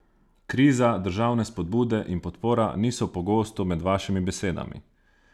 Kriza, državne spodbude in podpora niso pogosto med vašimi besedami.